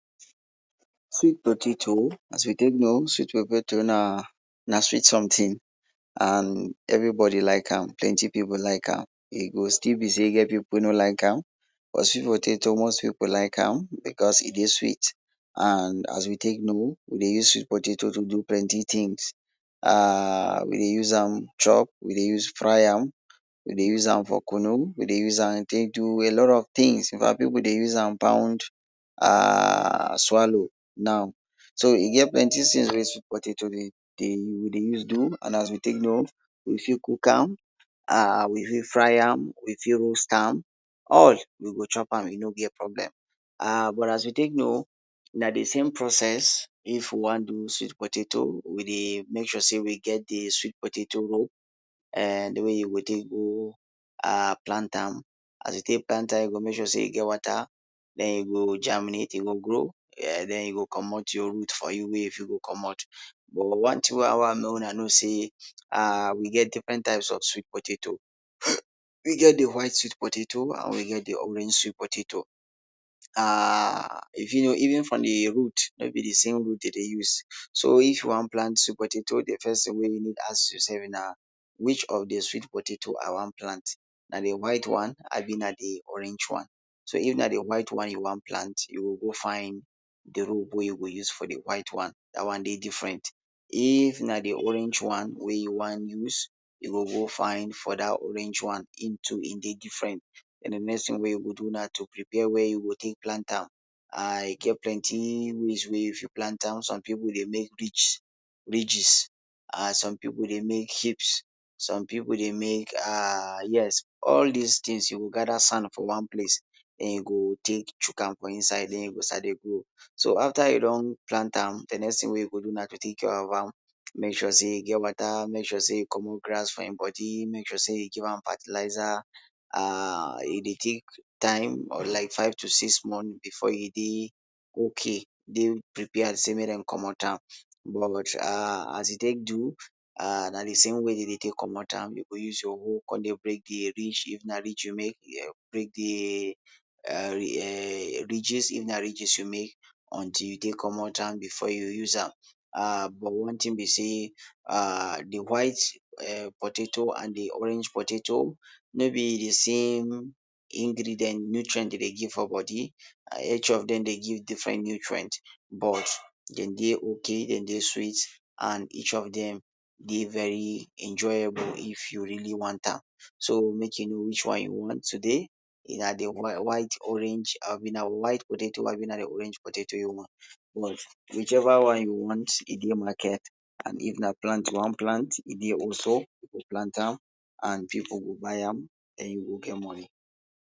Sweet potato as we take know, sweet potato na na sweet something, and everybody like am, plenty pipu like am. E go still be sey e get pipu wey no like am, but sweet potato most pipu like am because e dey sweet, and as we take know, we dey use sweet potato to do plenty things. um we dey use am chop, we dey use fry am, we dey use am for kunu, we dey use am take do a lot of things. In fact pipu dey use am pound um swallow now. So e get plenty things wey sweet potato dey dey we dey use do, and as we take know, you fit cook am and, um we fit fry am, we fit roast am, all, we go chop am, e no get problem. um but as we take know, na de same process if we wan do sweet potato we dey make sure say we get de sweet potato de way you go take go um plant am, as you take plant am, you go make sure sey e get water, then e go germinate, e go grow um den e go komot your root for you wey you fit go komot. But one thing wey I want make una know sey um we get different types of sweet potato. We get de white sweet potato and we get de orange sweet potato. um even from de root, no be de same root dem dey use. So if you wan plant sweet potato, de first thing wey you need ask yourself na which of de sweet potato I wan plant? Na de white one abi na de orange one. So if na de white one you wan plant, you go go find de root wey you go use for de white one. Dat one dey different. If na de orange one wey you wan use, you go go find for dat orange one, im too e dey different. Den de next thing wey you go do na to prepare wia you go take plant am. um e get plenty ways wey you fit plant am. Some pipu dey make ridge ridges um some pipu dey make shapes, some pipu dey make um yes all this things you go gather sand for one place, den you go take chook am for inside, den e go start dey grow. So after you don plant am, de next thing wey you go do na to take care of am. Make sure e get water, make sure you komot grass from im body, make sure say you give am fertilizer, um e dey take time, like five to six months before e dey okay, dey prepared sey make dem komot am. um As e take do, na de same way dem dey take komot am. You go use your hoe come dey take break de ridge. If na ridge you make, break de um ridges, if na ridges you make, until you take komot am, before you use am. um but one thing be say um de white um potato and de orange potato, no be de same ingredient nutrient dey dey give for body. Each of dem dey give different nutrient, but dem dey okay, dem dey sweet and each of dem dey very enjoyable if you really want am. So make you know which one you want today, na de white orange abi na white potato abi na de orange potato you want. Whichever one you want, e dey market, and if na plant you wan plant, e dey also, you fit plant am and pipu go buy am, den you go get money.